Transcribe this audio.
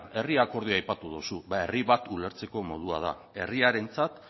herri akordioa aipatu duzu herri bat ulertzeko modu bat da herriarentzat